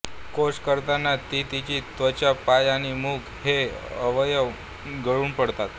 कोष करताना ती तिची त्वचा पाय आणि मुख हे अवयव गळून पडतात